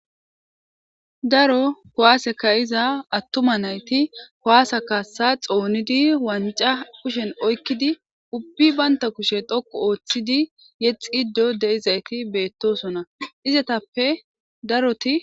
Daro kuwase ka'iza atuma nayti, kuwase kaasa xoonidi,wanca kushen oykidi,ubbi banta kushe dhoqqu oothidi yixxido de'izaysi beetosona. Izetappe daroti,